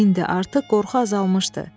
İndi artıq qorxu azalmışdı.